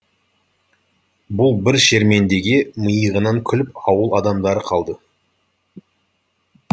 бұл бір шермендеге миығынан күліп ауыл адамдары қалды